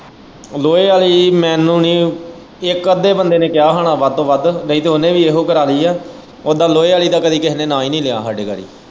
ਲੋਹੇ ਆਲ਼ੀ ਮੈਨੂੰ ਨੀ ਇੱਕ ਅੱਧੇ ਬੰਦੇ ਨੇ ਕਿਹਾ ਹੁਣਾ ਵੱਧ ਤੋਂ ਵੱਧ ਨਹੀਂ ਤੇ ਓਹਨੇ ਵੀ ਕਾਰਲੀ ਐ ਉੱਦਾ ਲੋਹੇ ਆਲ਼ੀ ਦਾ ਕਦੇ ਕੇਹੇ ਨੇ ਨਾਂ ਹੀ ਨੀ ਲਿਆ ਹਾਂਡੇ ਘਰੇ।